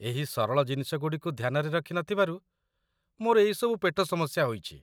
ଏହି ସରଳ ଜିନିଷଗୁଡ଼ିକୁ ଧ୍ୟାନରେ ରଖି ନ ଥିବାରୁ ମୋର ଏଇସବୁ ପେଟ ସମସ୍ୟା ହୋଇଛି।